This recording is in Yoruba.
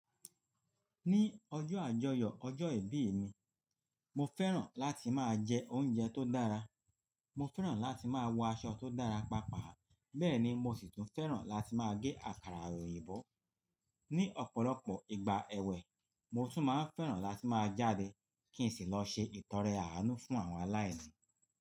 Ní ọjọ́ àjọyọ̀, ọjọ́ ìbí mi, mo fẹ́ràn láti máa jẹ oúnjẹ tó dára, mo fẹ́ràn láti máa wọ aṣọ tó dára pàápàá, bẹ́ẹ̀ ni mo fẹ́ràn láti máa gé àkàrà òyìnbó. Ní ọ̀pọ̀lọpọ̀ ìgbà ẹwẹ, mo tún máa ń fẹ́ràn láti máa jáde kí n sì lọ ṣe ìtọrẹ àánú fún àwọn aláìní.